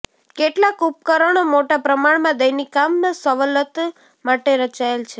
કેટલાક ઉપકરણો મોટા પ્રમાણમાં દૈનિક કામ સવલત માટે રચાયેલ છે